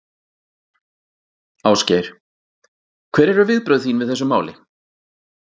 Ásgeir: Hver eru viðbrögð þín við þessu máli?